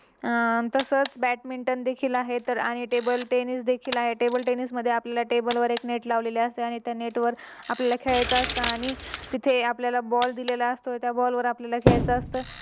आह तसेच Badminton देखील आहे आणि Table tennis देखील आहे. Table tennis मध्ये आपल्याला Table वर एक नेट लावलेली असते आणि त्या नेटवर आपल्याला खेळायचे असत आणि तिथे आपल्याला Ball दिलेला असतो. त्या Ball वर आपल्याला खेळायचं असत